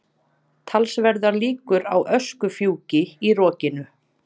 Talsverðar líkur á öskufjúki í rokinu